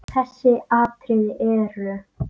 Þessi atriði eru